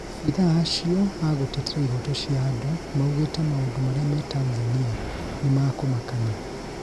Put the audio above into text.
maabithaa acio a gũtetera ihoto cia andũ maugĩte maũndũ maria me Tanzania nĩmakumakania